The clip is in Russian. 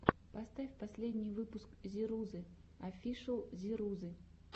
поставь последний выпуск зирузы офишл зирузы